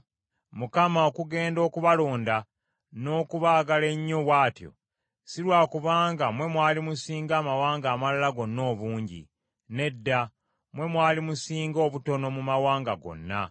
Mukama okugenda okubalonda n’okubaagala ennyo bw’atyo; si lwa kubanga mwe mwali musinga amawanga amalala gonna obungi; nedda, mwe mwali musinga obutono mu mawanga gonna.